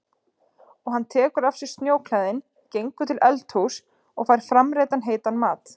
Og hann tekur af sér snjóklæðin, gengur til eldhúss og fær framreiddan heitan mat.